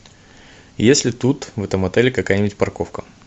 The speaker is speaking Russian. есть ли тут в этом отеле какая нибудь парковка